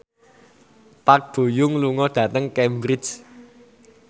Park Bo Yung lunga dhateng Cambridge